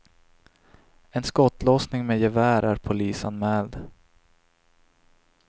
En skottlossning med gevär är polisanmäld.